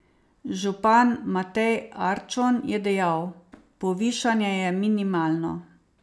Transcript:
Župan Matej Arčon je dejal: 'Povišanje je minimalno.